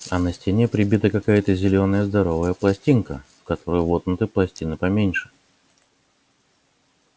а на стене прибита какая-то зелёная здоровая пластинка в которую воткнуты пластины поменьше